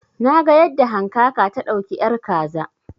Na kalli yadda hankaka ta dauki ƴar kaza